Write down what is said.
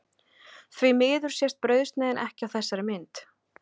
Því miður sést brauðsneiðin ekki á þessari mynd.